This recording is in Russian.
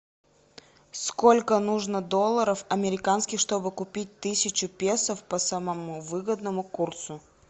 сколько нужно долларов американских чтобы купить тысячу песо по самому выгодному курсу